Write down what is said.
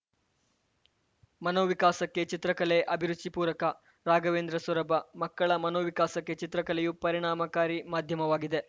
ಮನೋವಿಕಾಸಕ್ಕೆ ಚಿತ್ರಕಲೆ ಅಭಿರುಚಿ ಪೂರಕ ರಾಘವೇಂದ್ರ ಸೊರಬ ಮಕ್ಕಳ ಮನೋವಿಕಾಸಕ್ಕೆ ಚಿತ್ರಕಲೆಯೂ ಪರಿಣಾಮಕಾರಿ ಮಾಧ್ಯಮವಾಗಿದೆ